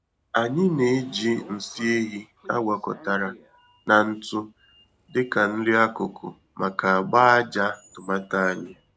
Anyị na-eji nsị ehi a gwakọtara na ntụ dị ka nri-akụkụ maka agba-ájá tomato anyị.